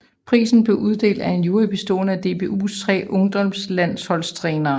Prisen blev uddelt af en jury bestående af DBUs tre ungdomslandsholdstrænere